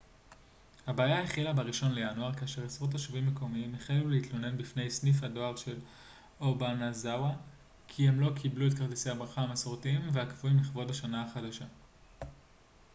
הבעיה החלה בראשון לינואר כאשר עשרות תושבים מקומיים החלו להתלונן בפני סניף הדואר של אובאנאזאווא כי הם לא קיבלו את כרטיסי הברכה המסורתיים והקבועים לכבוד השנה החדשה